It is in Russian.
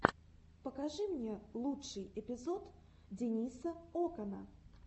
покажи мне лучший эпизод дениса окана